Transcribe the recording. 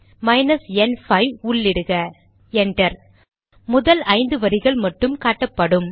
minus n 5 enter முதல் ஐந்து வரிகள் மட்டும் காட்டப்படும்